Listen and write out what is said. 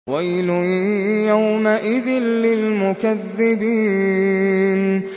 وَيْلٌ يَوْمَئِذٍ لِّلْمُكَذِّبِينَ